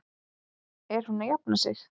Er hún að jafna sig?